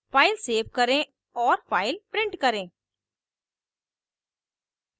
file save करें औए file print करें